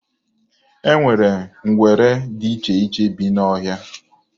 E nwere ngwere dị iche iche bi n'ọhịa.